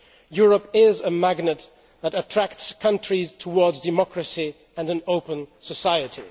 Europe is a magnet that attracts countries towards democracy and an open society.